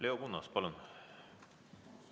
Leo Kunnas, palun!